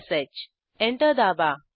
enter दाबा